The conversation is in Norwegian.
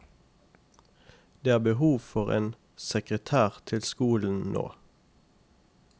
Det er behov for en sekretær til på skolen nå.